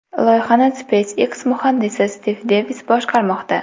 Loyihani SpaceX muhandisi Stiv Devis boshqarmoqda.